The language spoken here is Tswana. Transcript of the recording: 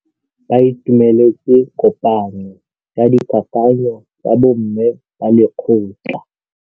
Ba itumeletse kôpanyo ya dikakanyô tsa bo mme ba lekgotla.